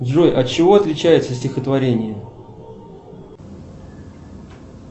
джой от чего отличается стихотворение